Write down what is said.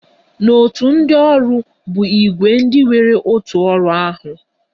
Òtù ndị ọrụ bụ ìgwè ndị nwere otu ọrụ ahụ